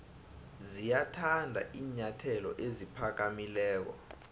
ziyathanda iinyathelo eziphakamileko